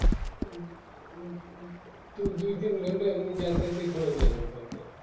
দুই দুই তিন ঘন্টা ওখানে যাতায়াতে ই খরচ হয়ে যাবে আপনার